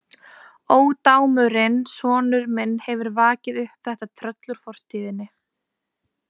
Ódámurinn sonur minn hefur vakið upp þetta tröll úr fortíðinni.